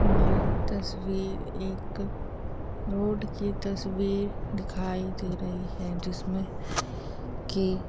यह तस्वीर एक रोड की तस्वीर दिखाई दे रही है जिसमें की----